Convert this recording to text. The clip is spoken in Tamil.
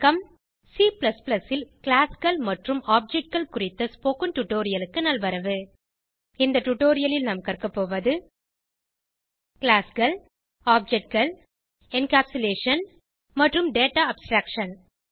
C ல் Classகள் மற்றும் Objectகள் குறித்த ஸ்போகன் டுடோரியலுக்க நல்வரவு இந்த டுடோரியலில் நாம் கற்கபோவது Classகள் Objectகள் என்கேப்சுலேஷன் மற்றும் டேட்டா அப்ஸ்ட்ராக்ஷன்